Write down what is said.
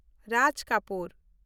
Raj Kapoor